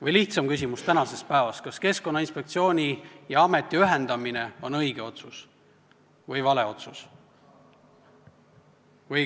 Või lihtsam küsimus tänasest päevast: kas Keskkonnainspektsiooni ja Keskkonnaameti ühendamine on õige või vale otsus?